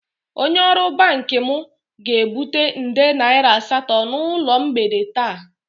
Onye ọrụ banki m ga-ebute nde naira asaa n'ụlọ na mgbede taa